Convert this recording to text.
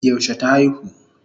Yaushe ta aihu?